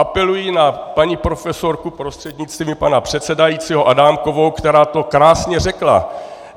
Apeluji na paní profesorku prostřednictvím pana předsedajícího Adámkovou, která to krásně řekla.